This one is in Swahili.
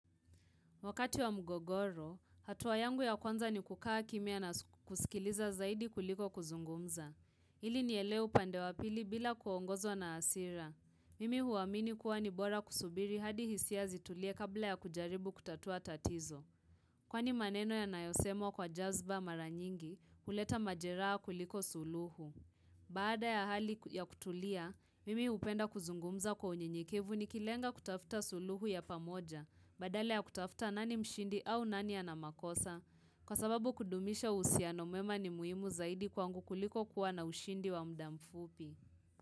Wakati wa mgogoro, hatuwa yangu ya kwanza ni kukaa kimia na kusikiliza zaidi kuliko kuzungumza. Ili nieleu pandewa pili bila kuongozo na asira. Mimi huwamini kuwa nibora kusubiri hadi hisia zitulie kabla ya kujaribu kutatua tatizo. Kwani maneno ya nayosemo kwa jazba maranyingi kuleta majeraa kuliko suluhu. Baada ya hali ya kutulia, mimi upenda kuzungumza kwa unyinyikivu ni kilenga kutafuta suluhu ya pamoja. Badala ya kutafuta nani mshindi au nani ana makosa Kwa sababu kudumisha uhusiano mwema ni muhimu zaidi kwangu kuliko kuwa na ushindi wa muda mfupi.